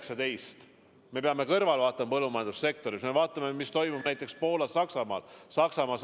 Samas me peame siiski vaatama kogu põllumajandussektorit, me peame vaatama, mis toimub näiteks Poolas ja Saksamaal.